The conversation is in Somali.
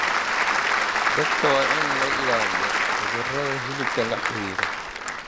Dadka waa in laga ilaaliyo cudurrada hilibka la xiriira.